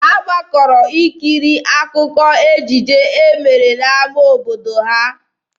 Ha gbakọrọ ikiri akụkọ ejije e mere n'ama obodo ha.